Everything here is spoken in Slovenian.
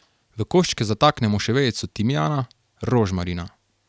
V koščke zataknemo še vejico timijana, rožmarina.